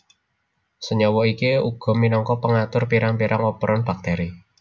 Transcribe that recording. Senyawa iki uga minangka pengatur pirang pirang operon bakteri